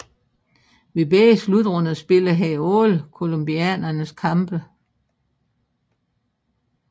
Ved begge slutrunder spillede han alle colombianernes kampe